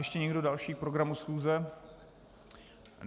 Ještě někdo další k programu schůze?